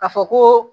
Ka fɔ koo